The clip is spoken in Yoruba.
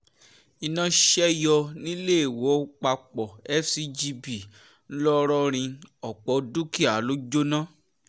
iná ṣe yọ níléèwọ́pàpọ̀ fcgb ńlọrọrìn ọ̀pọ̀ dúkìá ló jóná